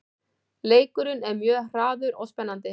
Leikurinn er mjög hraður og spennandi